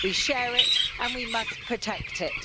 We share it, and we must protect it.